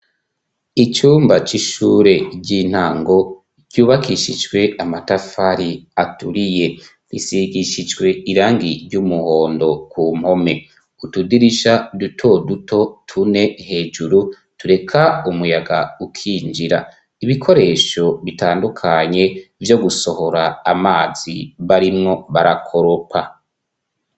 Icumba c'ishure ry'intango, ryubakishijwe amatafari aturiye, gisigishijwe irangi ry'umuhondo ku mpome, utudirisha dutoduto tune hejuru, tureka umuyaga ukinjira, ibikoresho bitandukanye vyo gusohora amazi barimwo barakoropa.